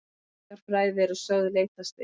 Menningarfræði eru sögð leitast við